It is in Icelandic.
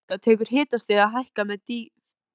Neðan þessara marka tekur hitastigið að hækka með dýpinu.